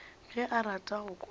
ge o rata go kwana